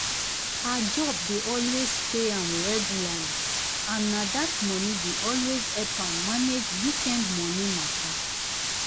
her job dey always pay am regularly and na that money dey always help am manage weekend money matter.